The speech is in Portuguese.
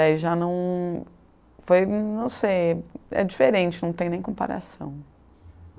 Aí já não foi, não sei é diferente, não tem nem comparação.